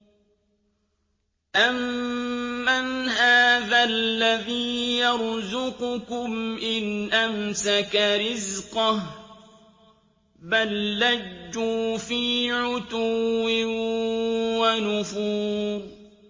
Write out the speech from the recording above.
أَمَّنْ هَٰذَا الَّذِي يَرْزُقُكُمْ إِنْ أَمْسَكَ رِزْقَهُ ۚ بَل لَّجُّوا فِي عُتُوٍّ وَنُفُورٍ